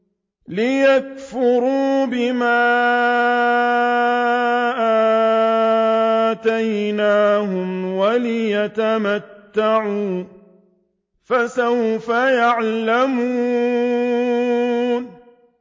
لِيَكْفُرُوا بِمَا آتَيْنَاهُمْ وَلِيَتَمَتَّعُوا ۖ فَسَوْفَ يَعْلَمُونَ